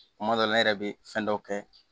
Kuma dɔ la ne yɛrɛ bɛ fɛn dɔw kɛ